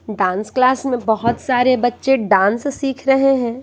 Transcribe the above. Dance class में बहुत सारे बच्चे डांस सीख रहे हैं।